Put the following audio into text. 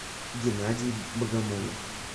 геннадий богомолов